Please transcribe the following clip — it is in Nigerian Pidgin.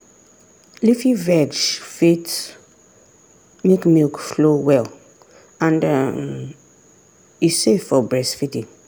leafy veg fit make milk flow well and um e safe for breastfeeding.